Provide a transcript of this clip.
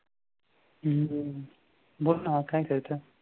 हम्म बोल ना काय करते?